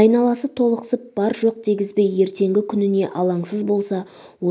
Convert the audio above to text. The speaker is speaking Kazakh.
айналасы толықсып бар-жоқ дегізбей ертеңгі күніне алаңсыз болса